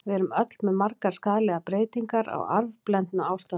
Við erum öll með margar skaðlegar breytingar, á arfblendnu ástandi.